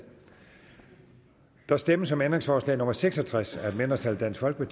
der stemmes om ændringsforslag nummer seks og tres af et mindretal tiltrådt af